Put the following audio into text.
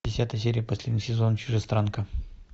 десятая серия последний сезон чужестранка